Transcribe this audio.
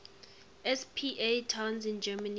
spa towns in germany